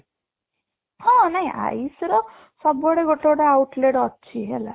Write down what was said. ହଁ, ନାଇଁ ଆୟୁଷ ର ସବୁଆଡେ ଗୋଟେ ଗୋଟେ out late ଅଛି ହେଲା